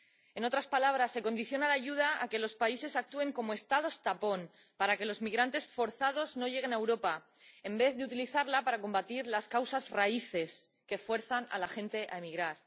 En otras palabras, se condiciona la ayuda a que los países actúen como Estados tapón para que los migrantes forzados no lleguen a Europa, en vez de utilizarla para combatir las causas raíces que fuerzan a la gente a emigrar.